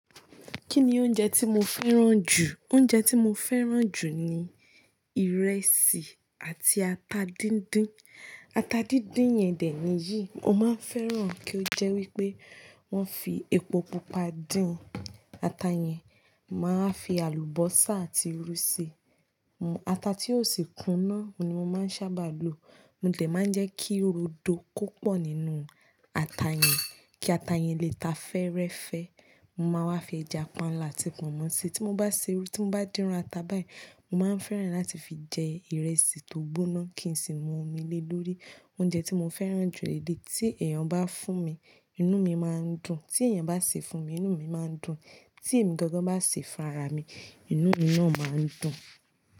Kí ni oúnjẹ tí mo fẹ́ràn jù? Oúnjẹ tí mo fẹ́ràn jù ni ìrẹsì àti ata díndín. Ata díndín yẹn dè níyì, mo máa ń fẹ́ràn kí ó jẹ́ wípé wón fi epo pupa dín ata yẹn. Mo máa ń fi àlùbọ́sà àti irú ṣi. Ata tí ó sì kúnná ni mo máa ń sábà lo. Mo dẹ̀ máa ń jẹ́ kí ó rodo kó pọ̀ nínú ata yẹn, kí ata yẹn lè ta fẹ́ẹ́rẹ́fẹ́. Mo máa wá fi ẹja panla àti pọ̀nmọ́ ṣe. Tí mo bá ṣe, tí mo bá dín iru ata báyìí, mo máa ń fẹ́ràn láti fi jẹ ìrẹsì tó gbóná kí n sì mu omi lé lórí. Oúnjẹ tí mo fẹ́ràn jù lèdè, tí èèyàn bá fún mi, inú mi máa ń dùn. Tí èèyàn bá sè é fún mi, inú mi máa ń dùn. Tí èmi gangan bá sè é fún ara mi, inú mi náà máa ń dùn.